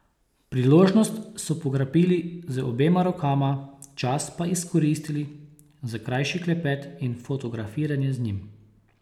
Priložnost so pograbili z obema rokama, čas pa izkoristili za krajši klepet in fotografiranje z njim.